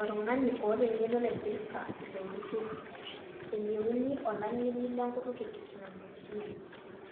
Oltung'ani oota eng'eno naipirta ilo turrur eyieuni olang'eni lenkutuk e teknolojia,